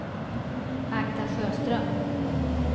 Agda Sjöström